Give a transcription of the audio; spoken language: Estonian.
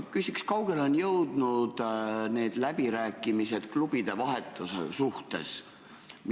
Ma küsin, kui kaugele on jõudnud läbirääkimised klubide vahetuse teemal.